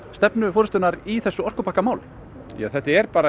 stefnu forystunnar í þessu orkupakkamáli ja þetta er